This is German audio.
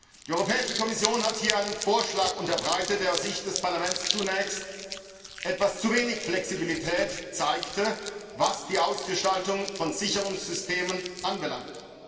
Die Europäische Kommission hat einen Vorschlag unterbreitet, der aus Sicht des Parlaments zunächst etwas zu wenig Flexibilität zeigte, was die Ausgestaltung von Sicherungssystemen anbelangt.